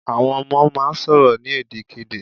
Àwọn ọmọ máà ń sọ̀rọ̀ ní èdè kedè